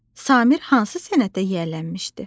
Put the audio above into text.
Samir hansı sənətə yiyələnmişdi?